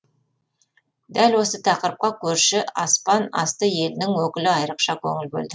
дәл осы тақырыпқа көрші аспан асты елінің өкілі айрықша көңіл бөлді